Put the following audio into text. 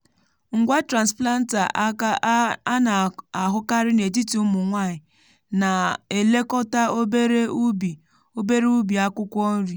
ngwa transplanter aka a na-ahụkarị n’etiti ụmụ nwanyị na-elekọta obere ubi obere ubi akwụkwọ nri.